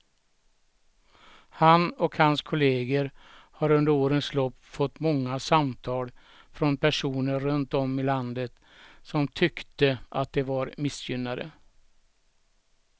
Han och hans kolleger har under årens lopp fått många samtal från personer runt om i landet som tyckte att de var missgynnade.